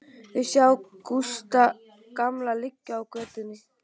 Þau sjá Gústa gamla liggja í götunni.